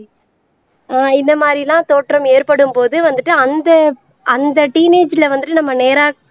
ஆஹ் இந்த மாதிரிலாம் தோற்றம் ஏற்படும்போது வந்துட்டு அந்த அந்த டீனேஜ்ல வந்துட்டு நம்ம நேரா